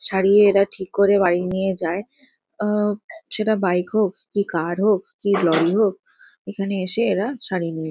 সারিয়ে এরা ঠিক করে বাড়ি নিয়ে যায়। আ সেটা বাইক হোক কি কার হোক কি লরি হোক এখানে এসে এরা সারিয়ে নিয়ে--